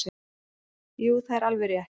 Jú það er alveg rétt.